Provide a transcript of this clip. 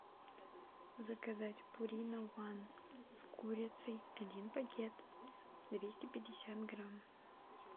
заказать пурино ван с курицей один пакет двести пятьдесят грамм